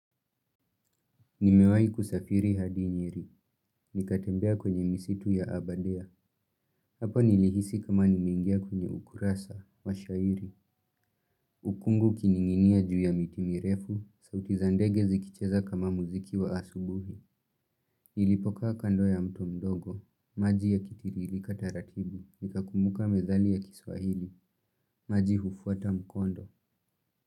Nimewai kusafiri hadi nyeri. Nikatembea kwenye misitu ya abadea. Hapo nilihisi kama nimeingia kwenye ukurasa wa shairi. Ukungu kininginia juu ya mitimirefu. Sauti za ndege zikicheza kama muziki wa asubuhi. Nilipoka kando ya mto mdogo. Maji yakitirilika taratibu. Nika kumbuka methali ya kiswahili. Maji hufuata mkondo.